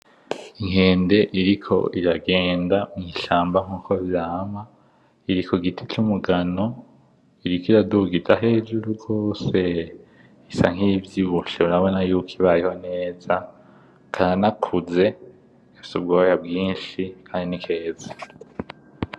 Inkende iriko iragenda mw'ishamba nkuko vyama, iri kugiti c'umugano, iriko iraduga ija hejuru gose, isa nk'iyivyibushe, urabona ko ibayeho neza, karanakuze; gafise ubwoya bwinshi kandi ni keza.